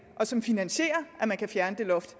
og som finansierer at man kan fjerne det loft